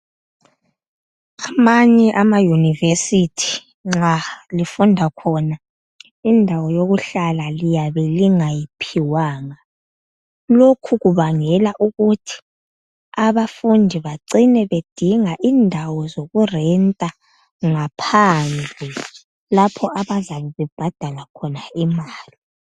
Amanye ama university nxa lifunda khona indawo yokuhlala liyabe lingayiphiwanga lokhu kubangela ukuthi abafundi becine bedinga indawo zokurenter ngaphandle lapha abazabe bebhadala khona imali